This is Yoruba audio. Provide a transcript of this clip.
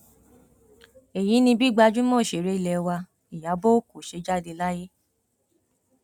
èyí ni bí gbajúmọ òṣèré ilé wa iyọ ọkọ ṣe jáde láyé